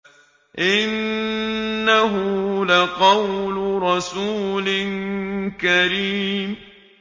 إِنَّهُ لَقَوْلُ رَسُولٍ كَرِيمٍ